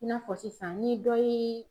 I n'a fɔ sisan ni dɔ ye